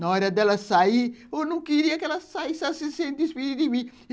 Na hora dela sair, eu não queria que ela saísse assim sem despedir de mim.